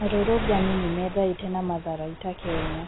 arũrũngani nimethaĩte na matharaita Kenya